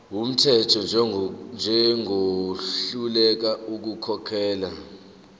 wumthetho njengohluleka ukukhokhela